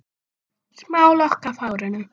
Hvernig ræktar þú hugann?